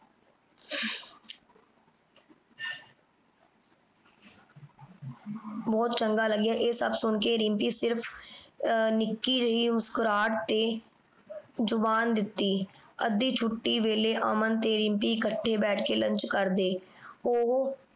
ਬਹੁਤ ਚੰਗਾ ਲਗਿਆਂ ਏ ਸਬ ਸੁਨ ਕੇ ਰਿਮ੍ਪੀ ਸਿਰਫ ਨਿੱਕੀ ਜੈ ਮੁਸਕੁਰਾਹਟ ਤੇ ਜ਼ੁਬਾਨ ਦਿਤੀ। ਅੱਧੀ ਛੁਟੀ ਵੇਲੇ ਅਮਨ ਤੇ ਰਿਮ੍ਪੀ ਇਕਠੀ ਬੈਠ ਕੇ lunch ਕਰਦੇ। ਓਹੋ